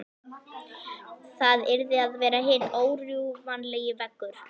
Það yrði að vera hinn órjúfanlegi veggur.